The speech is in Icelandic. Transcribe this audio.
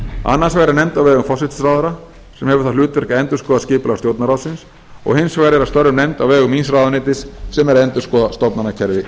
annars vegar er nefnd á vegum forsætisráðherra sem hefur það hlutverk að endurskoða skipulag stjórnarráðsins og hins vegar er að störfum nefnd á vegum míns ráðuneytis sem er að endurskoða stofnanakerfi